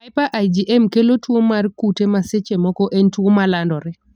Hyper IgM kelo tuo mar kute ma seche moko en tuo malandore.